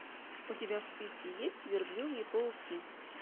у тебя в списке есть верблюжьи пауки